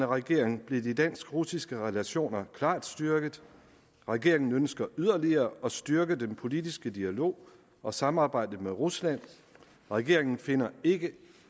regering blev de dansk russiske relationer klart styrket og regeringen ønsker yderligere at styrke den politiske dialog og samarbejde med rusland regeringen finder ikke